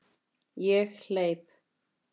Ég hleyp.